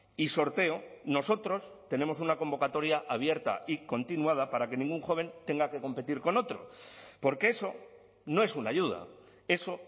y sorteo nosotros tenemos una convocatoria abierta y continuada para que ningún joven tenga que competir con otro porque eso no es una ayuda eso